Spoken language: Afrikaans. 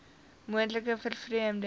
moontlike vervreemding ten